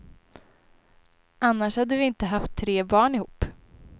Annars hade vi inte haft tre barn ihop.